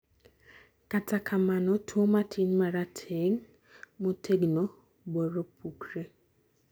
kata kama no tuo matin , marateng',motegno boro pukre